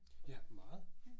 Ja meget